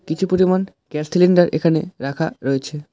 কিছু পরিমাণ gas cylinder এখানে রাখা রয়েছে।